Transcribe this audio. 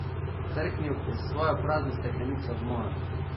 Trknil je svojo prazno steklenico ob mojo.